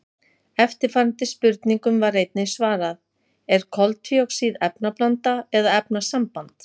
Eftirfarandi spurningum var einnig svarað: Er koltvíoxíð efnablanda eða efnasamband?